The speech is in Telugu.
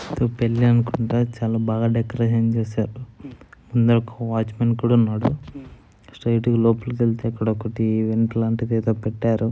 ఇక్కడ పెళ్లి అనుకుంటా. చాలా బాగా డెకరేషన్ చేశారు. ఇందాక వాచ్మెన్ కూడా ఉన్నాడు. స్ట్రైట్ గా లోపలికి వెళ్తే ఇక్కడ ఒకటి ఇంకు లాంటిది ఏదో పెట్టారు.